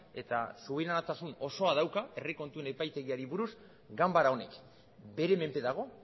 eta subiranotasun osoa dauka herri kontuen epaitegiari buruz ganbara honek bere menpe dago